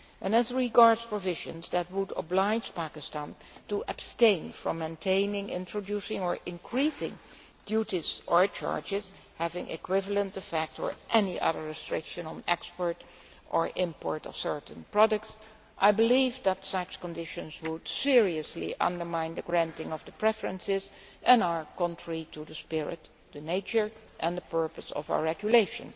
As regards provisions that would oblige Pakistan to abstain from maintaining, introducing or increasing duties or charges having equivalent effect, or any other restriction on the export or import of certain products, I believe that such conditions would seriously undermine the granting of the preferences and are contrary to the spirit, the nature and the purpose of our regulation.